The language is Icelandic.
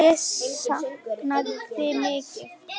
Ég sakna þín mikið.